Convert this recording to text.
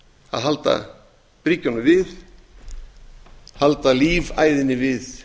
að halda bryggjunum við halda lífæðinni við